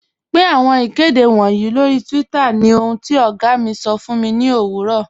Pin awọn ikede wọǹyì lọ́ri twitter ni ohun ti ọ̀gá mi sọ̀ fun mi ni owurọ̀.